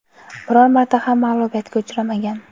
biror marta ham mag‘lubiyatga uchramagan.